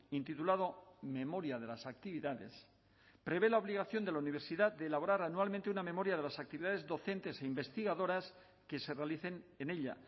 intitulado memoria de las actividades prevé la obligación de la universidad de elaborar anualmente una memoria de las actividades docentes e investigadoras que se realicen en ella